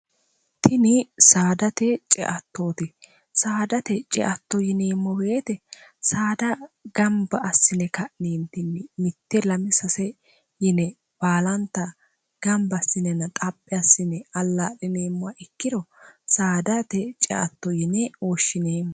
tini saadate ceattooti saadate ceatto yiniimmo beete saada gamba assine ka'niintinni mitte lmi sase yine baalanta gamba assinen xaphi assine allaa'liniimmo ikkiro saadate ceatto yine hooshshineemmo